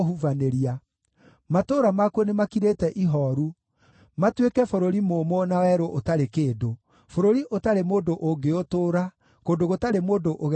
Matũũra makuo nĩmakirĩte ihooru, matuĩke bũrũri mũũmũ na werũ ũtarĩ kĩndũ, bũrũri ũtarĩ mũndũ ũngĩũtũũra, kũndũ gũtarĩ mũndũ ũgeragĩra kuo.